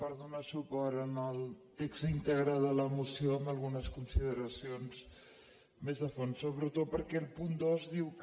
per donar suport al text ín·tegre de la moció amb algunes consideracions més a fons sobretot perquè el punt dos diu que